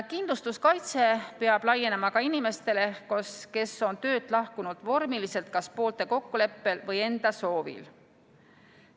Kindlustuskaitse peab laienema ka inimestele, kes on töölt lahkunud vormiliselt kas poolte kokkuleppel või enda soovil.